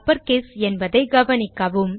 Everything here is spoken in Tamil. அப்பர்கேஸ் என்பதை கவனிக்கவும்